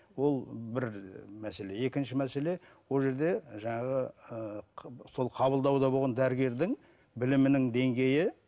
ол бір мәселе екінші мәселе ол жерде жаңағы ыыы сол қабылдауда болған дәрігердің білімінің деңгейі